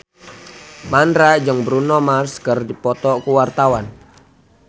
Mandra jeung Bruno Mars keur dipoto ku wartawan